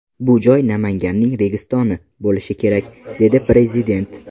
Bu joy ‘Namanganning Registoni’ bo‘lishi kerak”, – dedi Prezident.